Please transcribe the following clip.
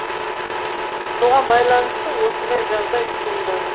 соған байланысты осындай жағдай туындады